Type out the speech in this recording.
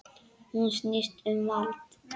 Hún snýst um vald.